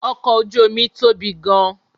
Ọkọ̀ ojú omi tóbi gan-an